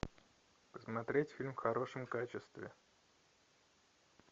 посмотреть фильм в хорошем качестве